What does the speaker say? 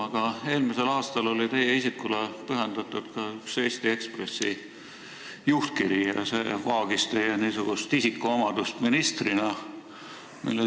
Aga eelmisel aastal oli teie isikule pühendatud üks Eesti Ekspressi juhtkiri ja see vaagis üht teie kui ministri isikuomadust.